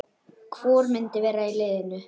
Hvor myndi vera í liðinu?